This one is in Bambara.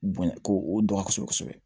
Bonya ko o dɔn kosɛbɛ